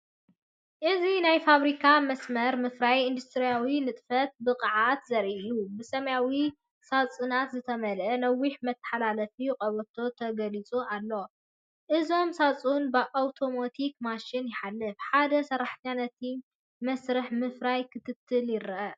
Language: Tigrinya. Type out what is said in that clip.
እዚ ናይ ፋብሪካ መስመር ምፍራይ ኢንዱስትርያዊ ንጥፈትን ብቕዓትን ዘርኢ እዩ! ብሰማያዊ ሳጹናት ዝተመልአ ነዊሕ መተሓላለፊ ቀበቶ ተገሊጹ ኣሎ። እዞም ሳጹናት ብኣውቶማቲክ ማሽናት ይሓልፉ። ሓደ ሰራሕተኛ ነቲ መስርሕ ምፍራይ ክከታተሎ ይረአ።